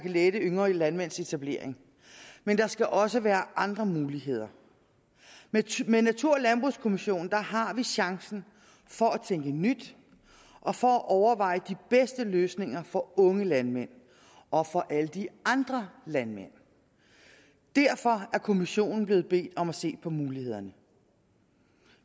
at lette yngre landmænds etablering men der skal også være andre muligheder med natur og landbrugskommissionen har vi chancen for at tænke nyt og for at overveje de bedste løsninger for unge landmænd og for alle de andre landmænd derfor er kommissionen blevet bedt om at se på mulighederne